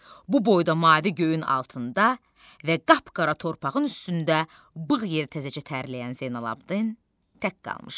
Bu boyda mavi göyün altında və qapqara torpağın üstündə bığı təzəcə tərləyən Zeynalabddin tək qalmışdı.